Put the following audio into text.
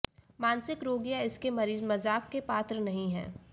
मानसिक रोग या इसके मरीज मजाक के पात्र नहीं हैं